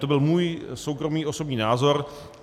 To byl můj soukromý, osobní názor.